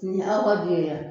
Nin ye aw ka du ye a